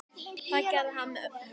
Það gerði hann með hörku.